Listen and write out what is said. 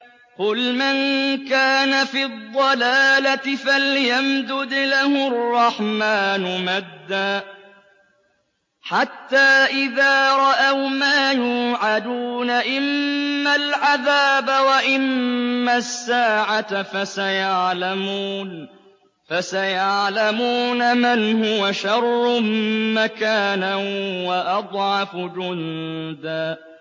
قُلْ مَن كَانَ فِي الضَّلَالَةِ فَلْيَمْدُدْ لَهُ الرَّحْمَٰنُ مَدًّا ۚ حَتَّىٰ إِذَا رَأَوْا مَا يُوعَدُونَ إِمَّا الْعَذَابَ وَإِمَّا السَّاعَةَ فَسَيَعْلَمُونَ مَنْ هُوَ شَرٌّ مَّكَانًا وَأَضْعَفُ جُندًا